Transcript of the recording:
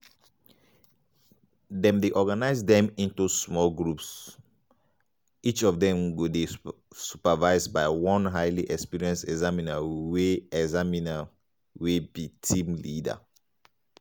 dem dey organise dem into small groups um each of dem go dey supervised by one highly experienced examiner wey examiner wey be di team leader. um